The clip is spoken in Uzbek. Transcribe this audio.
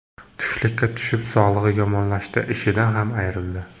Tushkunlikka tushib, sog‘lig‘i yomonlashdi, ishidan ham ayrildi.